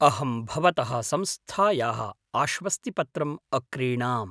अहं भवतः संस्थायाः आश्वस्तिपत्रम् अक्रीणाम्।